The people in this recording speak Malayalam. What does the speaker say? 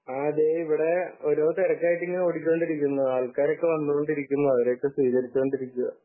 ആഹ് ദേ ഇവിടെ ഓരോ തിരക്കായിട്ട് ഇങ്ങനെ ഓടിക്കൊണ്ടിരിക്കുന്നു . ആൾക്കാരൊക്കെ വന്നുകൊണ്ടിരിക്കുന്നു . അവരെയൊക്കെ സ്വീകരിച്ചു കൊണ്ടിരിക്കയാ